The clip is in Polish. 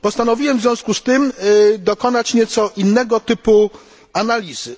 Postanowiłem w związku z tym dokonać nieco innego typu analizy.